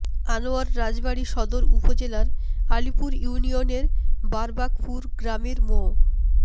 আনোয়ার রাজবাড়ী সদর উপজেলার আলীপুর ইউনিয়নের বারবাকপুর গ্রামের মো